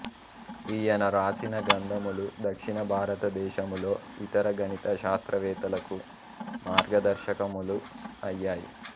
ఈయన వ్రాసిన గ్రంథములు దక్షిణ భారతదేశములో ఇతర గణిత శాస్త్రవేత్తలకు మార్గదర్శకములు అయ్యాయి